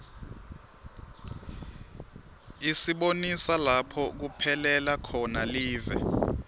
isibonisa lapho kuphelela khona live